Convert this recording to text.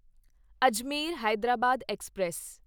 Ajmer Hyderabad express